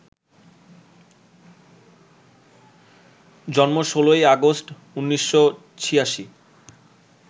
জন্ম ১৬ই আগস্ট, ১৯৮৬